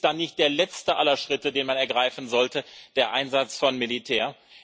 Und ist dann nicht der letzte aller Schritte, den man ergreifen sollte, der Einsatz von Militär?